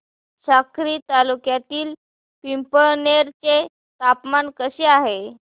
साक्री तालुक्यातील पिंपळनेर चे तापमान कसे आहे